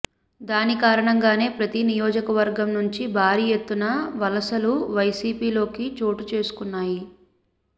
దీని కారణంగానే ప్రతి నియోజకవర్గం నుంచి భారీ ఎత్తున వలసలు వైసీపీలోకి చోటుచేసుకున్నాయి